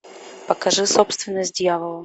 покажи собственность дьявола